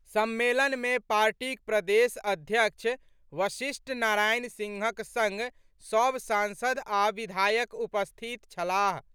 सम्मेलन में पार्टीक प्रदेश अध्यक्ष वशिष्ठ नारायण सिंहक संग सभ सांसद आ विधायक उपस्थित छलाह।